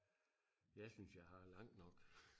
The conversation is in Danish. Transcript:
jeg synes jeg har langt nok